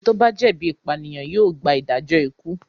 Ẹni tó bá jẹ̀bi ìpànìyàn yóò gba ìdájọ́ ikú.